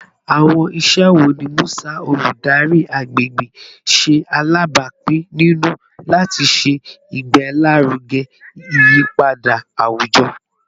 Awọn iṣẹ wo ni Musa, oludari agbegbe, ṣe alabapin ninu lati ṣe igbelaruge iyipada awujọ?